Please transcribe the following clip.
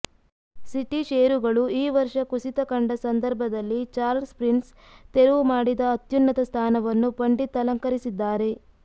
city ಷೇರುಗಳು ಈ ವರ್ಷ ಕುಸಿತ ಕಂಡ ಸಂದರ್ಭದಲ್ಲಿ ಚಾರ್ಲ್ಸ್ ಪ್ರಿನ್ಸ್ ತೆರವು ಮಾಡಿದ ಅತ್ಯುನ್ನತ ಸ್ಥಾನವನ್ನು ಪಂಡಿತ್ ಅಲಂಕರಿಸಿದ್ದಾರೆ